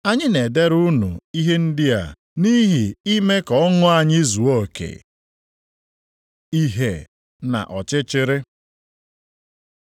Anyị na-edere unu ihe ndị a nʼihi ime ka ọṅụ anyị zuo oke. Ìhè na Ọchịchịrị